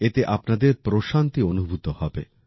এতে আপনাদের প্রশান্তি অনুভূব হবে